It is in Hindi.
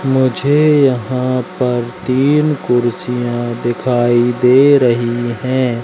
मुझे यहां पर तीन कुर्सियां दिखाई दे रही है।